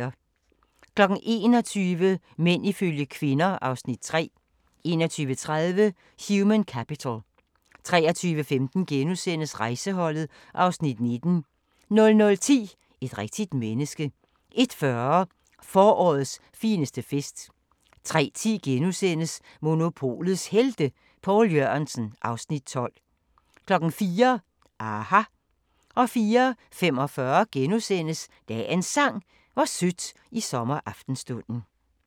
21:00: Mænd ifølge kvinder (Afs. 3) 21:30: Human Capital 23:15: Rejseholdet (Afs. 19)* 00:10: Et rigtigt menneske 01:40: Forårets fineste fest 03:10: Monopolets Helte – Poul Jørgensen (Afs. 12)* 04:00: aHA! 04:45: Dagens Sang: Hvor sødt i sommeraftenstunden *